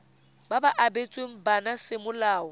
ba ba abetsweng bana semolao